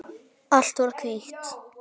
Allt var hvítt.